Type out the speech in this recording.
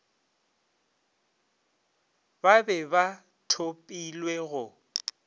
ba be ba thopilwe go